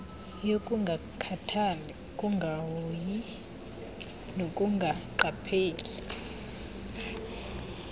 yokungakhathali ukungahoyi nokungaqapheli